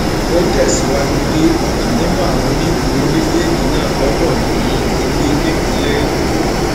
ó tẹsíwájú pé ọkan nínú àwọn onídùúró méjèèjì náà gbọdọ ní ilé nípínlẹ èkó